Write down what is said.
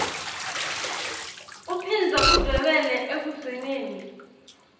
uphindze udvwebele ekugcineni